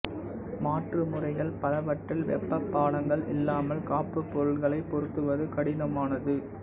மாற்று முறைகள் பலவற்றில் வெப்பப் பாலங்கள் இல்லாமல் காப்புப் பொருட்களைப் பொருத்துவது கடினமானது